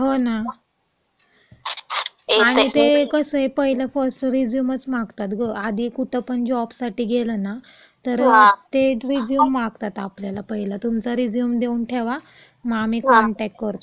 हो ना. आणि ते कसंय, पहिलं फर्स्ट रिझ्यूमच मागतात गं, आधी कुठं पण जॉबसाठी गेलं ना, तर ते रिझ्यूम मागतात आपल्याला, पहिला तुमचा रिझ्यूम देऊन ठेवा, आम्ही कॉनटॅक्ट करतो.